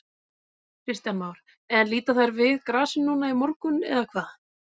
Kristján Már: En líta þær við grasinu núna í morgun eða hvað?